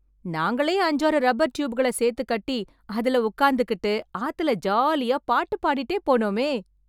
நாங்களே அஞ்சாறு ரப்பர் ட்யூப்கள சேர்த்து கட்டி, அதுல உக்காந்துகிட்டு, ஆத்துல ஜாலியா பாட்டு பாடிட்டே போனோமே.